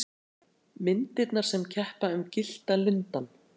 Myndirnar sem keppa um Gyllta lundann